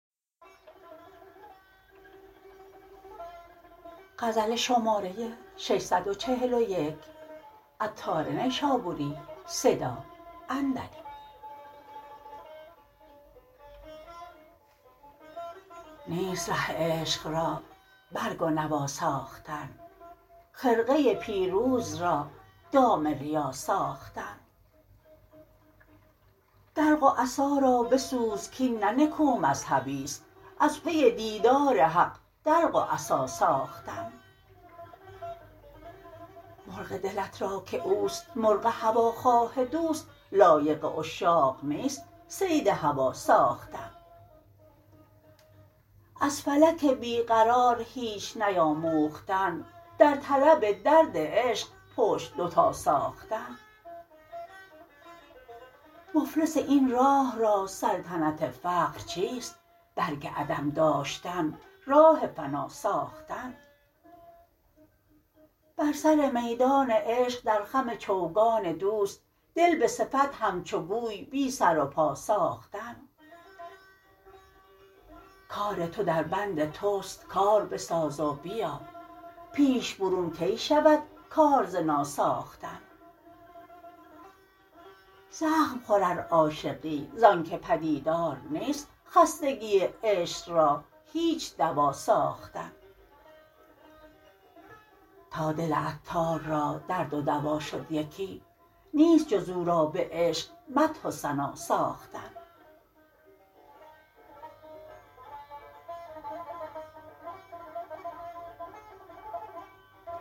نیست ره عشق را برگ و نوا ساختن خرقه پیروز را دام ریا ساختن دلق و عصا را بسوز کین نه نکو مذهبی است از پی دیدار حق دلق و عصا ساختن مرغ دلت را که اوست مرغ هوا خواه دوست لایق عشاق نیست صید هوا ساختن از فلک بی قرار هیچ نیاموختن در طلب درد عشق پشت دوتا ساختن مفلس این راه را سلطنت فقر چیست برگ عدم داشتن راه فنا ساختن بر سر میدان عشق در خم چوگان دوست دل به صفت همچو گوی بی سر و پا ساختن کار تو در بند توست کار بساز و بیا پیش برون کی شود کار ز ناساختن زخم خور ار عاشقی زانکه پدیدار نیست خستگی عشق را هیچ دوا ساختن تا دل عطار را درد و دوا شد یکی نیست جز او را به عشق مدح و ثنا ساختن